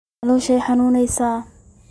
Calosha iixanuneysa.